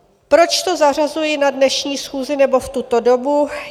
Proč to zařazuji na dnešní schůzi nebo v tuto dobu?